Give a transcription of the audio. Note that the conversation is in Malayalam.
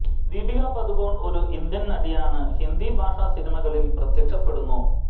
ദീപിക പദുകോൺ ഒരു ഇന്ത്യൻ നടിയാണ് ഹിന്ദി ഭാഷാ സിനിമകളിൽ പ്രത്യക്ഷപ്പെടുന്നു